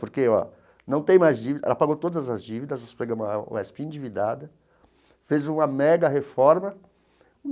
Porque ó não tem mais dívida ela pagou todas as dívidas, pegou uma UESP endividada, fez uma mega reforma.